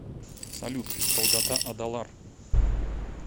салют долгота адалар